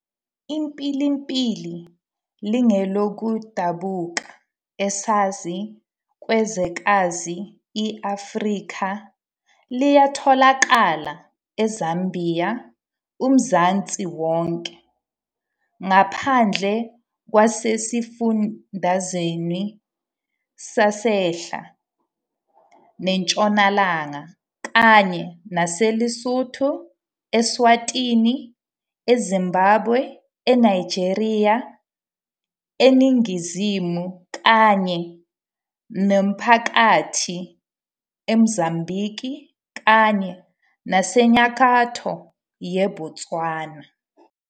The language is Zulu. IMpilimpili lingelokudabuka ezansi kwezwekazi i-Afrikha, liyatholakala eZambia, uMzansi wonke, Ngaphandle kwasesifundazweni sasenhla nentshonalanga, kanye naseLesotho, eSwatini, eZimbabwe, eNigeria, eningizimu kanye nemaphakathi eMozambique, kanye nasenyakatho yeBotswana.